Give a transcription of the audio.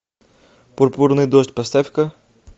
пурпурный дождь поставь ка